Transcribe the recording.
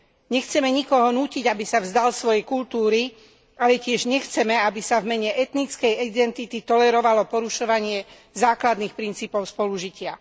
Nechceme nikoho nútiť, aby sa vzdal svojej kultúry, ale tiež nechceme, aby sa v mene etnickej identity tolerovalo porušovanie základných princípov spolužitia.